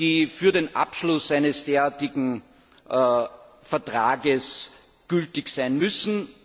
die für den Abschluss eines derartigen Vertrags gültig sein müssen.